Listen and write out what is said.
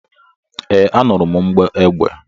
Ee, anụrụ m mgbọ egbe